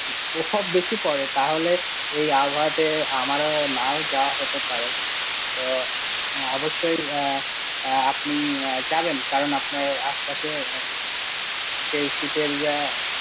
প্রকোপ বেশি পরে তাহলে, এই আবহাওয়াতে আমার ও না ও যাওয়া হতে পারে তো অবশ্যই, আপনি যাবেন, কারণ আপনার আশেপাশে, যে শীতের ইয়া.